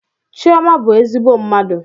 Chioma bụ ezigbo mmadụ.